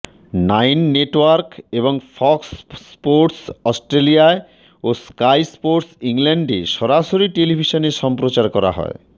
nine Network এবং Fox Sports অস্ট্রেলিয়ায় ও স্কাই স্পোর্টস ইংল্যান্ডে সরাসরি টেলিভিশনে সম্প্রচার করা হয়